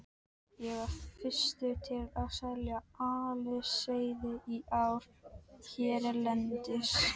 Ég var fyrstur til að selja aliseiði í ár hérlendis.